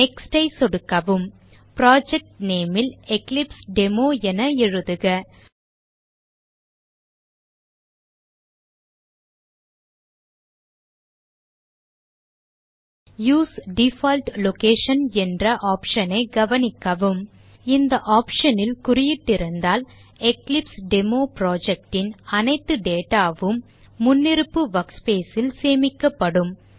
Nextஐ சொடுக்கவும் project name ல் Eclipse demo என எழுதுக யூஎஸ்இ டிஃபால்ட் லொகேஷன் என்ற option ஐ கவனிக்கவும் இந்த Option ல் குறியிட்டிருந்தால் எக்லிப்ஸ்டெமோ project ன் அனைத்து data உம் முன்னிருப்பு workspace ல் சேமிக்கப்படும்